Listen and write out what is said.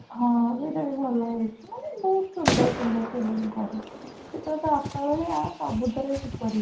ହଁ ସେଇଟା ବି ଭଲ ହେଇଚି ମାନେ ବହୁତ ସୁନ୍ଦର ସୁନ୍ଦର film କରେ ସେ ପୁରା ତା ବାପା ଭଳିଆ ସବୁ ଥିରେ superhit